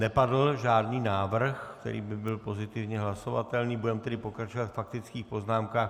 Nepadl žádný návrh, který by byl pozitivně hlasovatelný, budeme tedy pokračovat ve faktických poznámkách.